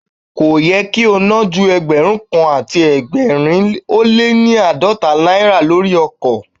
Kò yẹ kí o ná ju Ẹgbẹ̀rún kan àti ẹgbẹ̀rin ó lé ní àádọ́ta náírà lórí ọkọ̀.